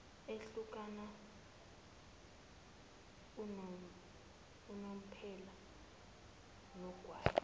ehlukana unomphela nogwayi